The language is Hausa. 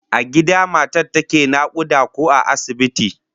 A gida matar take nakuda ko a asibiti?